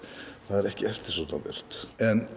er ekki eftirsóknarvert en